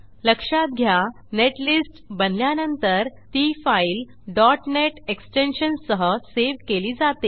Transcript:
लक्षात घ्या नेटलिस्ट बनल्यानंतर ती फाईल net एक्सटेन्शन सह सेव्ह केली जाते